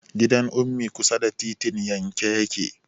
Gidan Ummi kusa da titin yanke yake.